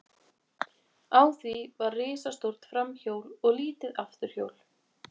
Á því var risastórt framhjól og lítið afturhjól.